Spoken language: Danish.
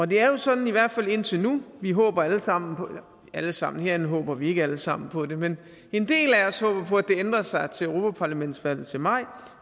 det er jo sådan i hvert fald indtil nu vi håber alle sammen alle sammen herinde håber vi ikke alle sammen på det men en del af os håber på det at det ændrer sig til europaparlamentsvalget til maj